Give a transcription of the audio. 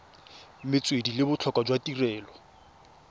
metswedi le botlhokwa jwa tirelo